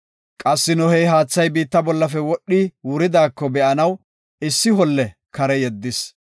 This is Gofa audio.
Qassi Nohey haathay biitta bollafe wodhi wuridaako be7anaw issi holle kare yeddis.